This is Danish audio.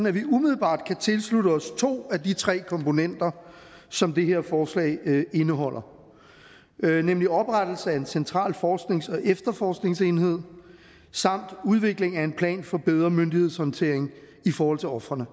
at vi umiddelbart kan tilslutte os to af de tre komponenter som det her forslag indeholder nemlig oprettelse af en central forsknings og efter forskningsenhed samt udvikling af en plan for bedre myndighedshåndtering i forhold til ofrene